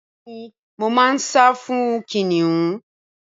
Bẹẹni mo ma nsa fún kìnìún